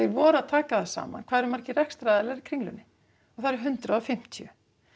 voru að taka það saman hvað það eru margir rekstraaðilar í Kringlunni það eru hundrað og fimmtíu